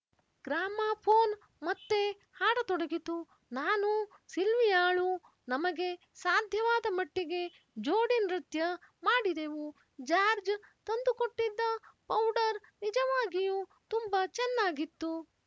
gramophone ಮತ್ತೆ ಹಾಡತೊಡಗಿತು ನಾನೂ ಸಿಲ್ವಿಯಾಳೂ ನಮಗೆ ಸಾಧ್ಯವಾದ ಮಟ್ಟಿಗೆ ಜೋಡಿನೃತ್ಯ ಮಾಡಿದೆವು ಜಾರ್ಜ್ ತಂದು ಕೊಟ್ಟಿದ್ದ ಪೌಡರ್ ನಿಜವಾಗಿಯೂ ತುಂಬ ಚೆನ್ನಾಗಿತ್ತು